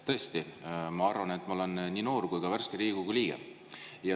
Tõesti, ma arvan, et ma olen nii noor kui ka värske Riigikogu liige.